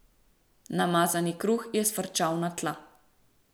Namazani kruh je sfrčal na tla.